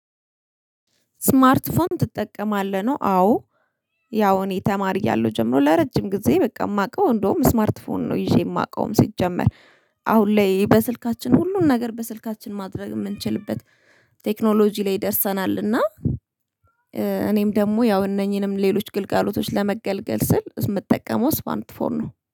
ስማርት ፎን ትጠቀማለህ? ነው አዎ ያው እኔ ተማሪ እያለሁ ጀምሮ ለረጅም ጊዜ በቃ የማውቀው እንደውም ስማርት ፎን ነው ይዤ የማውቀውም ሲጀመር አሁን ላይ በስልካችን ሁሉን ነገር በስልካችን ማድረግ የምንችልበት ቴክኖሎጂ ላይ ደርሰናል እና እኔም ደግሞ ያው እነኚህንም ሌሎች ግልቀሎቶች ለመገልገል ስል የምትጠቀመው ስማርት ፎር ነው።